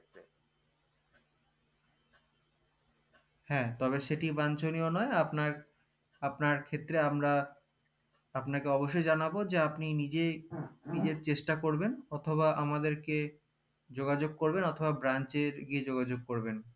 হ্যা সেটি বাঞ্চিনিয় নই আপনার আপনার ক্ষেত্রে আমরা আপনাকে অবশ্যই জানাবো যে আপনি নিজেই নিজের চেষ্টা করবেন অথবা আমাদেরকে যোগাযোগ করবেন অথবা branch এ গিয়ে যোগাযোগ করবেন